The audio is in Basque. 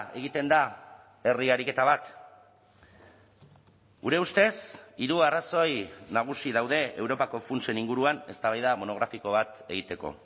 egiten da herri ariketa bat gure ustez hiru arrazoi nagusi daude europako funtsen inguruan eztabaida monografiko bat egiteko